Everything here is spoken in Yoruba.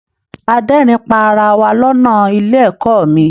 A d'ẹrin pá ará wá lọnà ilé ẹ̀kọ́ mí.